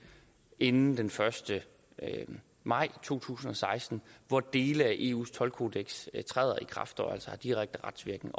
inden den første maj to tusind og seksten hvor dele af eus toldkodeks træder i kraft og altså har direkte retsvirkning